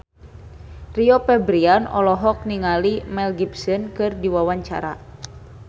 Rio Febrian olohok ningali Mel Gibson keur diwawancara